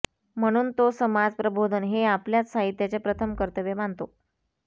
म्हणून तो समाज प्रबोधन हे आपल्याच साहित्याचे प्रथम कर्तव्य मानतो